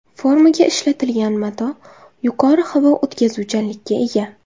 Formaga ishlatilgan mato yuqori havo o‘tkazuvchanlikka ega.